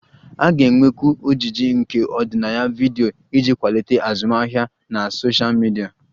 A ga-enwekwu ojiji nke ọdịnaya vidiyo iji kwalite azụmahịa na sosha midia